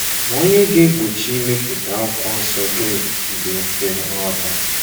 Ma ònye ga-egbochi imepụta Akwụkwọ Nsọ Griik dị mfe nghọta?